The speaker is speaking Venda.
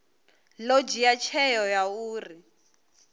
ḓo dzhia tsheo ya uri